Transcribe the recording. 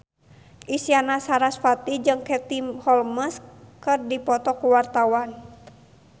Isyana Sarasvati jeung Katie Holmes keur dipoto ku wartawan